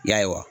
Ya